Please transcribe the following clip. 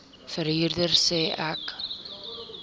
verhuurder sê ek